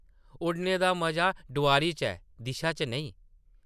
उड्डने दा मजा डोआरी च ऐ , दिशा च नेईं ।